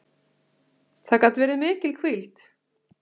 Það gat verið mikil hvíld.